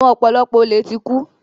Àwọn ọ̀pọ̀lọpọ̀ olè ti kú.